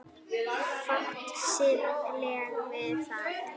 Fátt siðlegt við það?